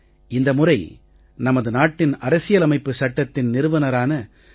இந்த முறை நமது நாட்டின் அரசியலமைப்புச் சட்டத்தின் நிறுவனரான டா